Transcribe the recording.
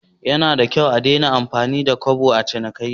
Yanada kyau a Dena amfani da Kobo a cinikayya?